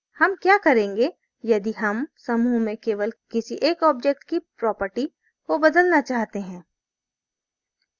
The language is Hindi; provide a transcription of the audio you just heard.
हम क्या करेंगे यदि हम समूह में केवल किसी एक objects की properties को बदलना चाहते हैं